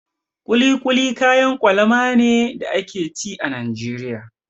Kuli kuli kayan kwalama ne da ake ci a Najeriya.